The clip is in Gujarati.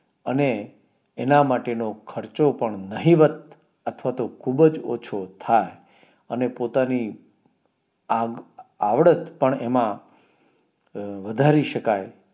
અને એના માટેનો ખર્ચો પણ નહિવત અથવા તો ખૂબજ ઓછો થાય અને પોતાની આગ આવડત પણએમાં અ વધારી શકાય